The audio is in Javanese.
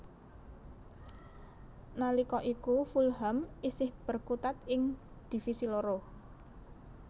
Nalika iku Fulham isih berkutat ing Divisi loro